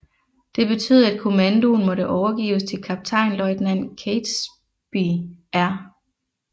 Det betød at kommandoen måtte overgives til kaptajnløjtnant Catesby R